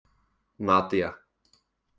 Nadía